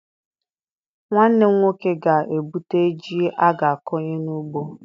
Nwanne m nwoke ga-ebute ji a ga-akọnye n'ugbo.